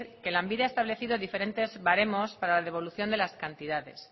que lanbide ha establecido diferentes baremos para la devolución de las cantidades